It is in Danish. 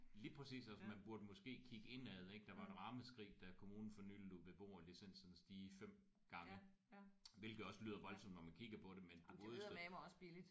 Lige præcis! Altså man burde måske kigge indad ik der var et ramaskrig da kommunen for nyligt lod beboerlicenserne stige 5 gange hvilket måske også lyder voldsomt når man kigger på det men du godeste